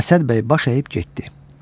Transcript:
Əsəd bəy baş əyib getdi.